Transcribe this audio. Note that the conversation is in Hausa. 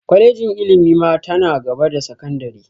Kwalejin ilimi ma ta na gaba da sakandire